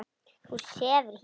Þú sefur hér.